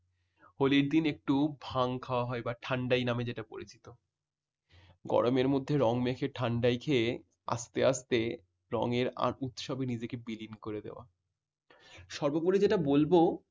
হলি র দিন একটু ভাং খাওয়া হয় বা ঠান্ডাই নামে যেটা পরিচিত। গরমের মধ্যে রং মেখে ঠান্ডায় খেয়ে আস্তে আস্তে রঙের উৎসবে নিজেকে বিলীন করে দেওয়া। সর্বোপরি যেটা বলবো